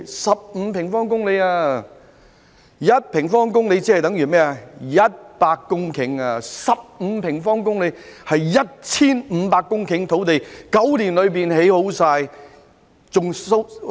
一平方公里等於100公頃土地，而15平方公里便等於 1,500 公頃土地，在9年內便完成。